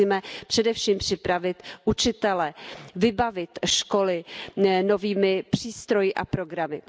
Musíme především připravit učitele, vybavit školy novými přístroji a programy.